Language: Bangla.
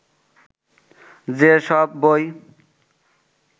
যেসব বই